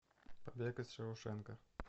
побег из шоушенка